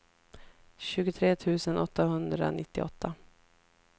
tjugotre tusen åttahundranittioåtta